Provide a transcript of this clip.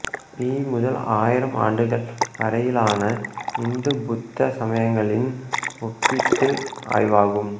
B முதல் ஆயிரம் ஆண்டுகள் வரையிலான இந்து புத்த சமயங்களின் ஒப்பீட்டு ஆய்வாகும்